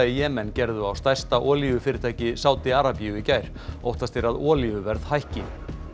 í Jemen gerðu á stærsta olíufyrirtæki Sádi Arabíu í gær óttast er að olíuverð hækki